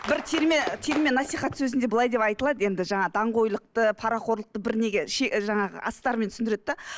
бір терме терме насихат сөзінде былай деп айтылады енді жаңа даңғойлықты парақорлықты бір неге жаңағы астарымен түсіндіреді де